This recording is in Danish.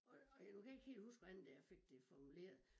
Og og jeg kan ikke huske hvordan det jeg fik det formuleret